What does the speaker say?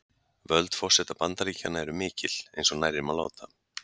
Völd forseta Bandaríkjanna eru mikil, eins og nærri má láta.